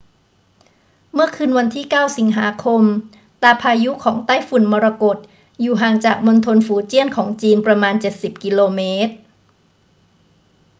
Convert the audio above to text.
เมื่อคืนวันที่ 9 สิงหาคม ตาพายุของไต้ฝุ่นมรกตอยู่ห่างจากมณฑลฝูเจี้ยนของจีนประมาณเจ็ดสิบกิโลเมตร